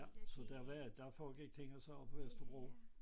Ja så der var der foregik ting og sager på Vesterbro